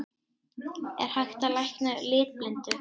Er hægt að lækna litblindu?